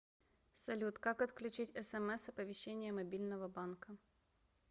салют как отключить смс оповещение мобильного банка